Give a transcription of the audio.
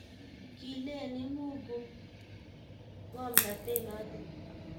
kiileni mu ku ng'omnote noto